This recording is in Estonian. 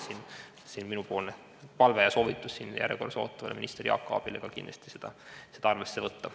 See on minu palve ja soovitus kõnejärjekorras ootavale minister Jaak Aabile kindlasti seda arvesse võtta.